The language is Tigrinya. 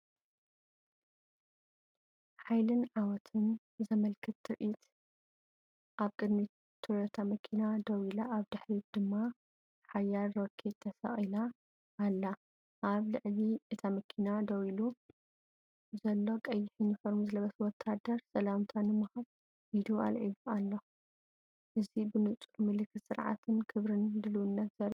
ሓይልን ዓወትን ዘመልክት ትርኢት! ኣብ ቅድሚት ቶዮታ መኪና ደው ኢላ፡ኣብ ድሕሪት ድማ ሓያል ሮኬ ተሰቒላ ኣላ። ኣብ ልዕሊ እታ መኪና ደው ኢሉ ዘሎ፡ቀይሕ ዩኒፎርም ዝለበሰ ወተሃደር ሰላምታ ንምሃብ ኢዱ ኣልዒሉ ኣሎ። እዚ ብንጹር ምልክት ስርዓትንክብርን ድልውነትን ዘርኢ እዩ።